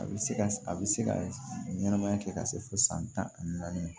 A bɛ se ka a bɛ se ka ɲɛnamaya kɛ ka se fo san tan ani naani